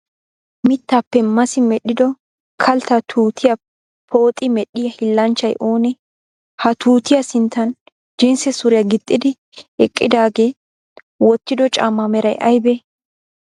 mittaappe massi medhdhido kaltta tuutiyaa pooxi medhdhiyaa hiillanchchay oonee? ha tuutiya sinttan jinsse suriyaa gixxidi eqqidaagee wottido caammaa meray ayibee?